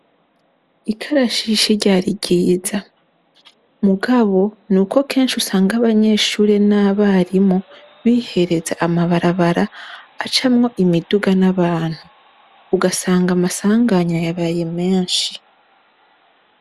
Ikarashishi ryari ryiza, mugabo nuko kenshi usanga abanyeshuri n'abarimu bihereza amabarabara acamwo imiduga n'abantu ugasanga amasanganya yabaye menshi.